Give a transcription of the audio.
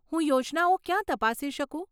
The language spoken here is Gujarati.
હું યોજનાઓ ક્યાં તપાસી શકું?